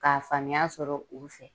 K'a faamuya sɔrɔ u fɛ